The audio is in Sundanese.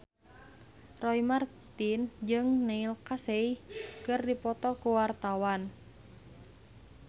Roy Marten jeung Neil Casey keur dipoto ku wartawan